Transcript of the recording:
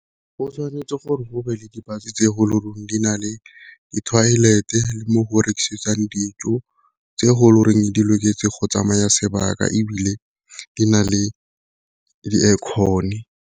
O tshwanetse gore go be le di-bus tse go di na le di toilet e le mo go rekisiwang dijo, tse go loreng di loketse go tsamaya sebaka ebile di na le di-aircon-e.